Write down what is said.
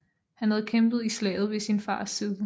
Han havde kæmpet i slaget ved sin fars side